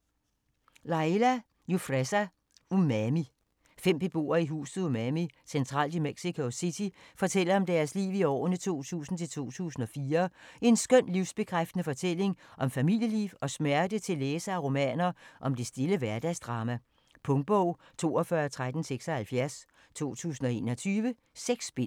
Jufresa, Laia: Umami Fem beboere i huset Umami, centralt i Mexico City, fortæller om deres liv i årene 2000-2004. En skøn, livsbekræftende fortælling om familieliv og smerte til læsere af romaner om det stille hverdagsdrama. Punktbog 421376 2021. 6 bind.